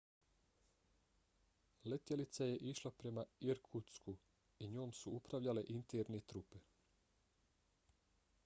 letjelica je išla prema irkutsku i njom su upravljale interne trupe